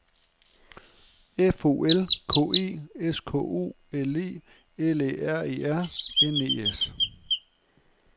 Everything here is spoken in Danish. F O L K E S K O L E L Æ R E R N E S